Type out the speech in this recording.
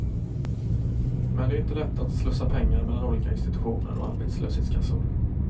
Men det är inte lätt att slussa pengar mellan olika institutioner och arbetslöshetskassor.